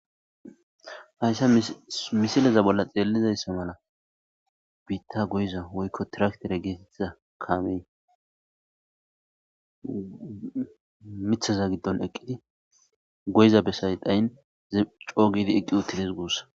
hayssa misileza bolla xeelizayssa mala biitta goyiza woykko tiraktere geetetiza kamey mithaza giddon eqqidi goyiza besay dhayin coogidi eqqi utides guussa